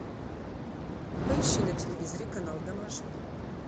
поищи на телевизоре канал домашний